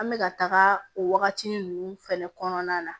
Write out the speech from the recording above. An bɛka taga o wagatinin ninnu fɛnɛ kɔnɔna na